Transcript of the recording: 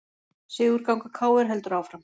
Sigurganga KR heldur áfram